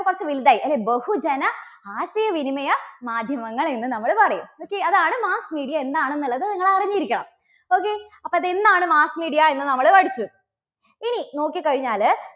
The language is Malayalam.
യുമ്പോൾ കുറച്ച് വലുതായി അല്ലേ? ബഹുജന ആശയവിനിമയ മാധ്യമങ്ങൾ എന്ന് നമ്മള് പറയും. okay അതാണ് mass media എന്താണെന്നുള്ളത് നിങ്ങൾ അറിഞ്ഞിരിക്കണം. okay അപ്പോ അത് എന്താണ് mass media എന്ന് നമ്മള് പഠിച്ചു. ഇനി നോക്കിക്കഴിഞ്ഞാല്